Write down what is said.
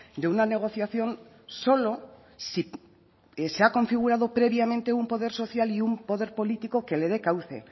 de una negociación solo si se ha configurado previamente un poder social y un poder político que le dé cauce